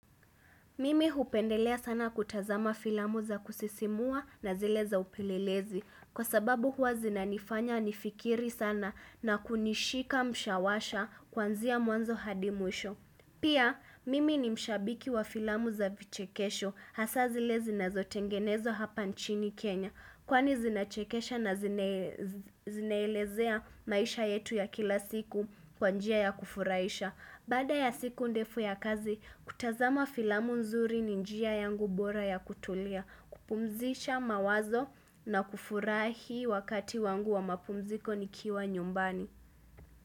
Mimi hupendelea sana kutazama filamu za kusisimua na zile za upelelezi kwa sababu huwa zinanifanya nifikiri sana na kunishika mshawasha kuanzia mwanzo hadi mwisho. Pia, mimi ni shabiki wa filamu za vichekesho hasa zile zinazotengenezwa hapa nchini Kenya kwani zinachekesha na zina elezea maisha yetu ya kila siku kwa njia ya kufurahisha. Baada ya siku ndefu ya kazi, kutazama filamu nzuri ni njia yangu bora ya kutulia, kupumzisha mawazo na kufurahi wakati wangu wa mapumziko nikiwa nyumbani.